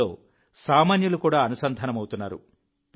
ఇందులో సామాన్యులు కూడా అనుసంధానమవుతున్నారు